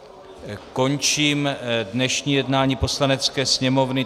Končím dnešní jednání Poslanecké sněmovny.